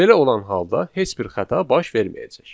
Belə olan halda heç bir xəta baş verməyəcək.